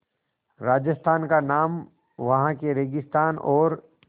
राजस्थान का नाम वहाँ के रेगिस्तान और